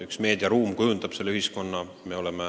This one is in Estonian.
Üks meediaruum kujundab selle ühiskonna.